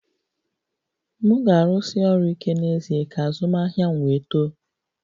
M ga-arụsi ọrụ ike n'ezie ka azụmahịa m wee too